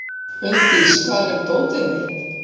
Unndís, hvar er dótið mitt?